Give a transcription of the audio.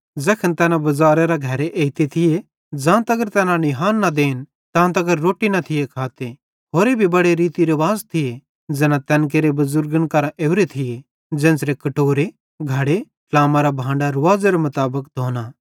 ज़ैखन तैना बज़ारेरां घरे एइते थिये ज़ां तगर तैना निहान न देन तां तगर रोट्टी न थिये खाते होरे भी बड़े रीति रुवाज़ थिये ज़ैना तैन केरे बुज़ुर्गन केरां ओरे थिये ज़ेन्च़रां कटोरे घड़े ट्लामेरां बांडां रुवाज़ेरे मुताबिक धोना